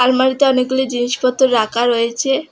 আলমারিতে অনেকগুলি জিনিসপত্র রাখা রয়েছে।